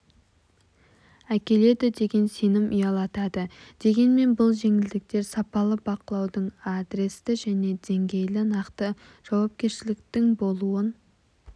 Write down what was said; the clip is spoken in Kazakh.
әкеледі деген сенім ұялатады дегенмен бұл жеңілдіктер сапалы бақылаудың адресті және деңгейлі нақты жауапкершіліктің болуын